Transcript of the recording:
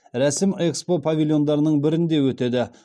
рәсім экспо павильондарының бірінде өтеді